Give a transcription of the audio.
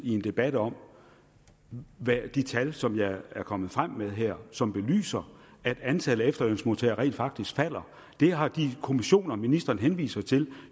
i en debat om de tal som jeg er kommet frem med her som belyser at antallet af efterlønsmodtagere rent faktisk falder det har de kommissioner ministeren henviser til